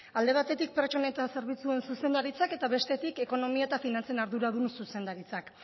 alde batetik pertsona eta zerbitzu zuzendaritzak eta bestetik ekonomia eta finantzen arduradun zuzendaritzak